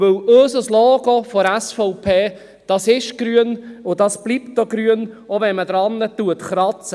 Denn unser Logo seitens der SVP ist und bleibt grün, selbst wenn man daran kratzt.